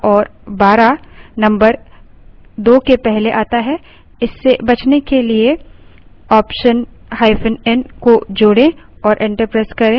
इससे बचने के लिए optionn को जोड़े और enter प्रेस करें